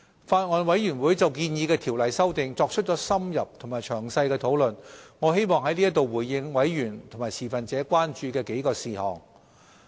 法案委員會就建議的條例修訂作出了深入和詳細的討論，我希望在此回應委員和持份者關注的幾個事項。